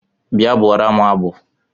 Bịa bụụrụ m abụ!